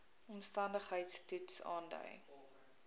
omstandigheids toets aandui